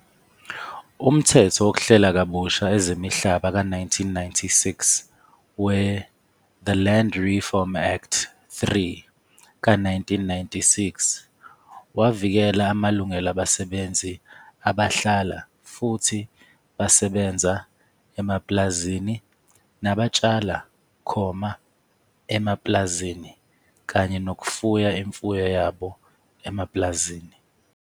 Umthetho wokuhlela kabusha ezimihlaba ka 1996, we-The Land Reform Act 3 ka 1996 wavikela amalungelo abasebenzi abahlala futhi besebenza emapulazini nabatshala khoma emapulazini kanye nokufuya imfuyo yabo emapulazini.